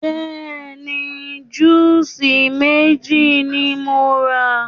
Bẹ́ẹ̀ni, júùsí méjì ni mo rà.